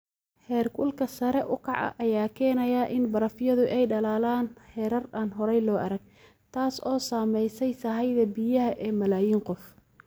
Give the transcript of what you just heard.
Heerkulka sare u kaca ayaa keenaya in barafyadu ay dhalaalaan heerar aan hore loo arag, taas oo saamaysay sahayda biyaha ee malaayiin qof.